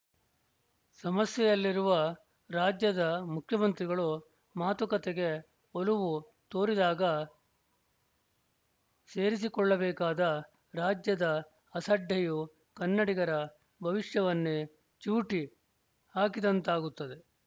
ಸಮಸ್ಯೆಯಲ್ಲಿರುವ ರಾಜ್ಯದ ಮುಖ್ಯವಂತ್ರಿಗಳು ಮಾತುಕತೆಗೆ ಒಲವು ತೋರಿದಾಗ ಸೇರಿಸಿಕೊಳ್ಳಬೇಕಾದ ರಾಜ್ಯದ ಅಸಡ್ಡೆಯು ಕನ್ನಡಿಗರ ಭವಿಷ್ಯವನ್ನೆ ಚಿವುಟಿ ಹಾಕಿದಂತಾಗುತ್ತದೆ